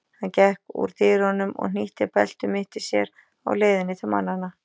Hann gekk úr dyrunum og hnýtti belti um mitti sér á leiðinni til mannanna.